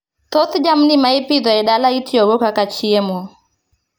Thoth jamni ma ipidho e dala itiyogo kaka chiemo